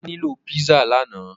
Olá nilo pizza lànà